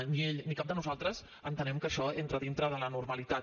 ni ell ni cap de nosaltres entenem que això entra dintre de la normalitat